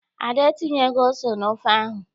Ada entinyeghị ose n'ofe ahụ.